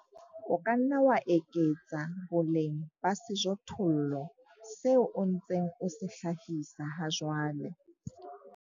O ka nna wa eketsa boleng ba sejothollo seo o ntseng o se hlahisa hajwale.